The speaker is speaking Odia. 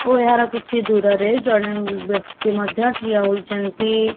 ଓ ଏହାର କିଛି ଦୂରରେ ଜଣେ ବ୍ୟକ୍ତି ମଧ୍ୟ ଠିଆ ହୋଇଛନ୍ତି।